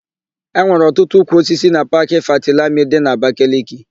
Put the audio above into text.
E nwere ọtụtụ ukwuosisi na Paakị Fatilami dị n'Abakaliki.